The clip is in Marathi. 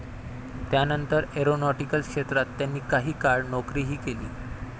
त्यानंतर एरॉनॉटिकल क्षेत्रात त्यांनी काही काळ नोकरीही केली.